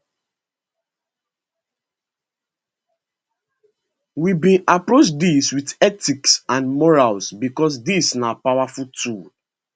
we bin approach dis wit ethics and morals becos dis na powerful tool